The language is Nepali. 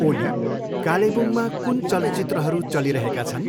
ओली कालेबुङमा कुन चलचित्रहरू चलिरहेका छन्?